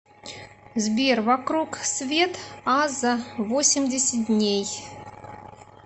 сбер вокруг свет аза восемьдесят дней